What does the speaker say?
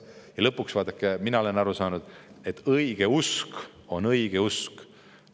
" Ja lõpuks, vaadake, mina olen aru saanud, et õigeusk on õigeusk.